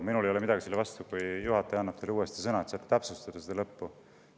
Minul ei ole midagi selle vastu, kui juhataja teile uuesti sõna annab, et täpsustada seda lõppu.